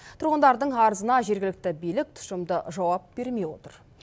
тұрғындардың арызына жергілікті билік тұшымды жауап бермей отыр